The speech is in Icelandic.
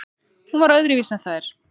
Hún var öðruvísi en þær.